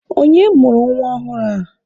Onye mụrụ nwa ọhụrụ a?